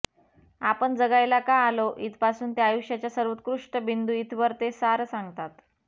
आपण जगायला का आलो इथपासून ते आयुष्याचा सर्वोत्कष्ट बिंदू इथवर ते सारं सांगतात